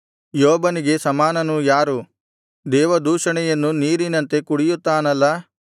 ಯೋಬನಿಗೆ ಸಮಾನನು ಯಾರು ದೇವದೂಷಣೆಯನ್ನು ನೀರಿನಂತೆ ಕುಡಿಯುತ್ತಾನಲ್ಲಾ